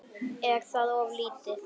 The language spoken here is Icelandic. Er það of lítið?